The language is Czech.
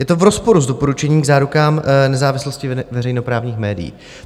Je to v rozporu s doporučením k zárukám nezávislosti veřejnoprávních médií.